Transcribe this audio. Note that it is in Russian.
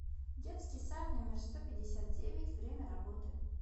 детский сад номер сто пятьдесят девять время работы